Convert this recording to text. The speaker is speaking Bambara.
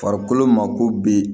Farikolo mako bi